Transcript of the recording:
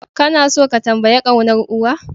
Kana tso ka tambayi kaunar uwa?